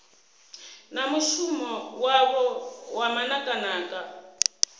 na mushumo wavho wa manakanaka